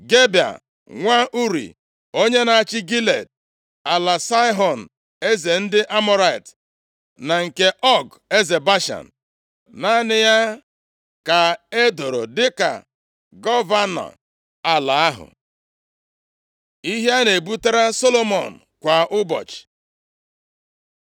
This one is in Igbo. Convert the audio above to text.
Gebea nwa Uri, onye na-achị Gilead (ala Saịhọn eze ndị Amọrait, na nke Ọg eze Bashan). Naanị ya ka e doro dịka gọvanọ ala ahụ. Ihe a na-ebubatara Solomọn kwa ụbọchị